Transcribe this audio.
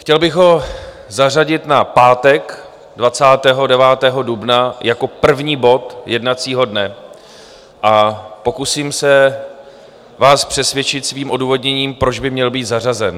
Chtěl bych ho zařadit na pátek 29. dubna jako první bod jednacího dne a pokusím se vás přesvědčit svým odůvodněním, proč by měl být zařazen.